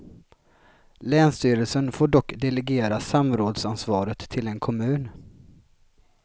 Länsstyrelsen får dock delegera samrådsansvaret till en kommun.